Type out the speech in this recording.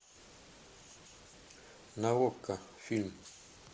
на окко фильм